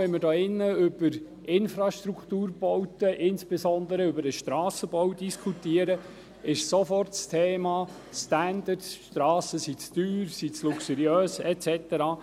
Jedes Mal, wenn wir hier über Infrastrukturbauten, insbesondere über den Strassenbau, diskutieren, kommt sofort das Thema Standards auf, die Strassen seien zu teuer, zu luxuriös et cetera.